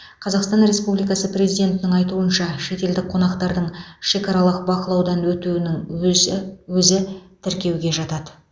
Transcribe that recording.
қазақстан республикасы президентінің айтуынша шетелдік қонақтардың шекаралық бақылаудан өтуінің өзі өзі тіркеуге жатады